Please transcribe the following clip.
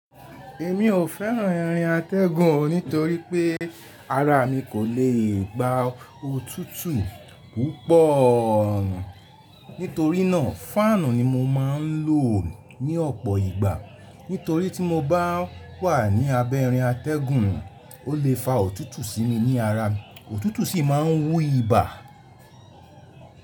Èmi ò fẹ́ràn irin atẹ́gùn nítorí pé ara mi kò lè gba òtútù púpọ̀. Nítorínà fáànù ni mo máa ń lò ní ọ̀pọ̀ ìgbà. Nítorí tí mo bá wà ní abẹ́ irin atẹ́gùn, ó lè fa òtútù sí mi ní ara, òtútù sì máa ń wú ibà.